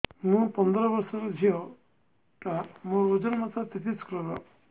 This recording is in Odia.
ମୁ ପନ୍ଦର ବର୍ଷ ର ଝିଅ ଟା ମୋର ଓଜନ ମାତ୍ର ତେତିଶ କିଲୋଗ୍ରାମ